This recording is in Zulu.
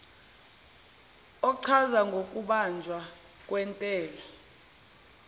ochaza ngokubanjwa kwentela